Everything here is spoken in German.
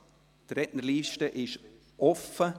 Die Rednerliste ist offen.